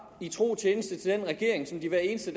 i tro tjeneste til den regering som de hver eneste